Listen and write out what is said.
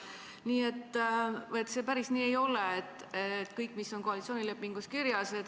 Nii et see päris nii ei ole, et kehtib ainult see, mis on koalitsioonilepingus kirjas.